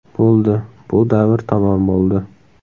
Bo‘ldi, bu davr tamom bo‘ldi.